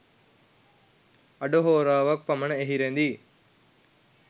අඩ හෝරාවක් පමණ එහි රැඳී